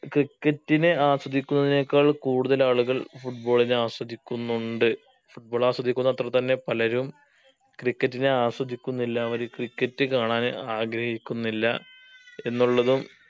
cricket നെ ആസ്വദിക്കുന്നതിനേക്കാൾ കൂടുതൽ ആളുകൾ football നെ ആസ്വദിക്കുന്നുണ്ട് football ആസ്വദിക്കുന്ന അത്ര തന്നെ പലരും cricket നെ ആസ്വദിക്കുന്നില്ല അവര് cricket കാണാൻ ആഗ്രഹിക്കുന്നില്ല എന്നുള്ളതും